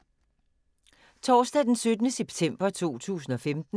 Torsdag d. 17. september 2015